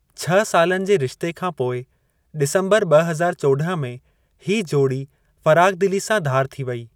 छह सालनि जे रिश्ते खां पोइ, डिसंबर ॿ हज़ार चौॾहं में हीअ जोड़ी फ़राख़दिली सां धार थी वेई।